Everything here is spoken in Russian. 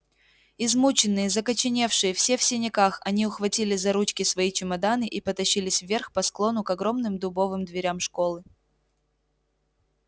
измученные закоченевшие все в синяках они ухватили за ручки свои чемоданы и потащились вверх по склону к огромным дубовым дверям школы